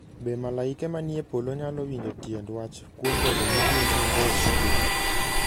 Be malaike manie polo nyalo winjo tiend wach kuom bedo ni gin mabor gi piny?